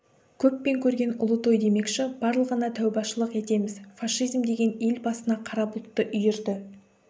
көппен көрген ұлы той демекші барлығына тәубашылық етеміз фашизм деген ел басына қара бұлтты үйірді